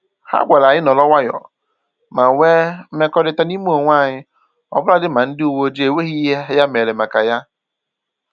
Ha gwara anyị nọrọ nwayọọ ma nwe mkwekọrịta n'ime onwe anyị ọbụladị ma ndị uwe ojii enweghị ihe ya mere maka ya